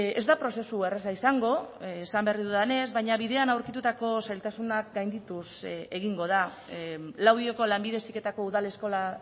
ez da prozesu erraza izango esan berri dudanez baina bidean aurkitutako zailtasunak gaindituz egingo da laudioko lanbide heziketako udal eskola